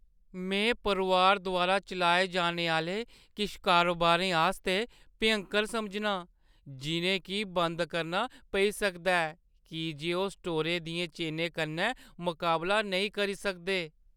में परोआर द्वारा चलाए जाने आह्‌ले किश कारोबारें आस्तै भ्यंकर समझना आं जिʼनें गी बंद करना पेई सकदा ऐ की जे ओह् स्टोरें दियें चेनें कन्नै मकाबला नेईं करी सकदे।